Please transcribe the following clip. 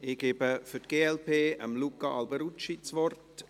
Ich gebe Luca Alberucci für die glp das Wort.